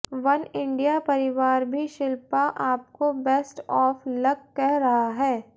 Oneindia परिवार भी शिल्पा आपको बेस्ट ऑफ लक कह रहा है